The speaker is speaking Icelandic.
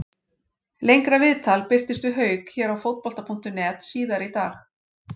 Lengra viðtal birtist við Hauk hér á Fótbolta.net síðar í dag.